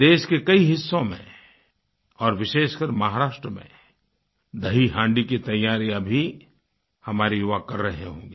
देश के कई हिस्सों में और विशेषकर महाराष्ट्र में दहीहाँडी की तैयारियाँ भी हमारे युवा कर रहे होंगे